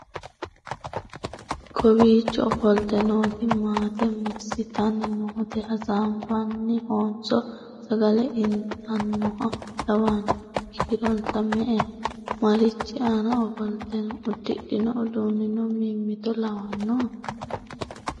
kowiicho ofolte nooti maate massitanni noote? hasaabbannohanso sagale ittannoha lawannohe? kiironsa me"eho? marichi aana ofolte no? uddidhino uduunnina mimmito lawannoho?